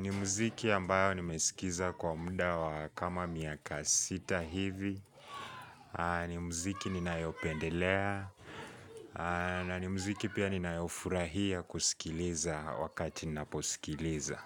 ni muziki ambayo nimesikiza kwa muda wa kama miaka sita hivi ni muziki ninayopendelea na ni muziki pia ninayofurahia kusikiliza wakati ninaposikiliza.